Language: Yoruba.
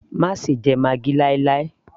má ṣe jẹ maggi láì láì